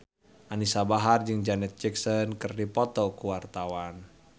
Anisa Bahar jeung Janet Jackson keur dipoto ku wartawan